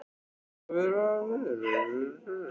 Björn: Hafið þið lagt útí mikinn kostnað vegna?